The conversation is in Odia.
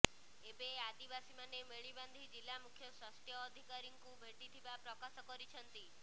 ଏବେ ଆଦିବାସୀମାନେ ମେଳି ବାନ୍ଧି ଜିଲ୍ଲା ମୁଖ୍ୟ ସ୍ବାସ୍ଥ୍ୟ ଅଧିକାରୀ ଙ୍କୁ ଭେଟିଥିବା ପ୍ରକାଶ କରିଛନ୍ତି